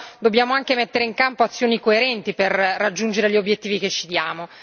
Però dobbiamo anche mettere in campo azioni coerenti per raggiungere gli obiettivi che ci diamo.